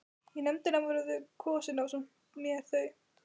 Í nefndina voru kosin ásamt mér þau